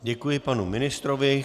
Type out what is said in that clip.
Děkuji panu ministrovi.